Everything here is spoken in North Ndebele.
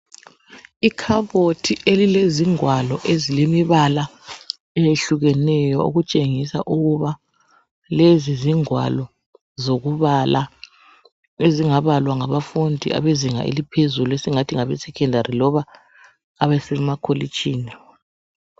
Ikhabothi elilezingwalo ezilemibala eyehlukeneyo. Okutshengisa ukuthi zingwalo, ezingabalwa ngabafundi abakuzinga eliphezulu, emasekhendari, loba emakolitshini.